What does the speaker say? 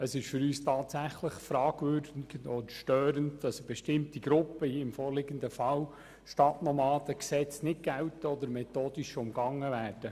Es ist für uns tatsächlich fragwürdig und störend, dass für bestimmte Gruppen – im vorliegenden Fall die Stadtnomaden – die Gesetze nicht gelten oder methodisch umgangen werden.